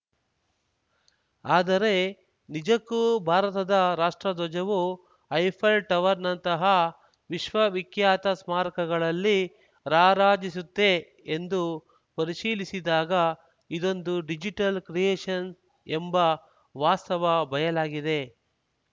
ಆದರೆ ನಿಜಕ್ಕೂ ಭಾರತದ ರಾಷ್ಟ್ರಧ್ವಜವು ಐಫೆಲ್‌ ಟವರ್‌ನಂತಹ ವಿಶ್ವವಿಖ್ಯಾತ ಸ್ಮಾರಕಗಳಲ್ಲಿ ರಾರಾಜಿಸಿತ್ತೇ ಎಂದು ಪರಿಶೀಲಿಸಿದಾಗ ಇದೊಂದು ಡಿಜಿಟಲ್‌ ಕ್ರಿಯೇಶನ್‌ ಎಂಬ ವಾಸ್ತವ ಬಯಲಾಗಿದೆ